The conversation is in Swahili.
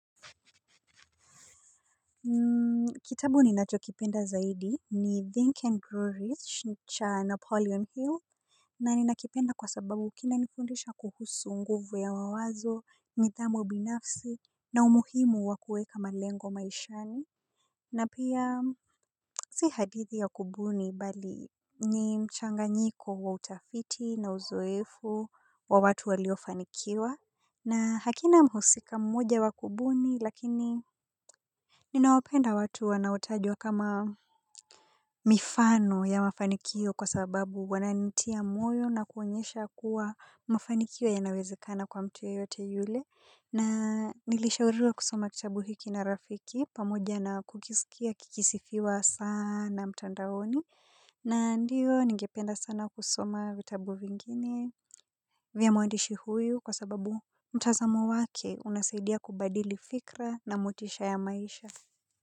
Kitabu ninachokipenda zaidi ni Think and Grow Rich cha Napoleon Hill. Na ninakipenda kwa sababu kina nifundisha kuhusu nguvu ya mawazo, nithamu binafsi, na umuhimu wa kueka malengo maishani. Na pia si hadithi ya kubuni bali ni mchanganyiko wa utafiti na uzoefu wa watu walio fanikiwa. Na hakina mhusika mmoja wa kubuni lakini ninawapenda watu wanaotajwa kama mifano ya mafanikio kwa sababu wananitia moyo na kuonyesha kuwa mafanikio yanawezekana kwa mtu yeyote yule na nilishauriwa kusoma kitabu hiki na rafiki pamoja na kukisikia kikisifiwa saana mtandaoni na ndiyo ningependa sana kusoma vitabu vingine vya mwandishi huyu kwa sababu mtazamo wake unasaidia kubadili fikra na motisha ya maisha.